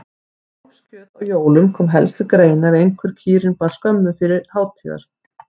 Kálfskjöt á jólum kom helst til greina ef einhver kýrin bar skömmu fyrir hátíðar.